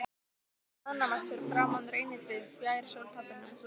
Þau staðnæmast fyrir framan reynitréð fjær sólpallinum.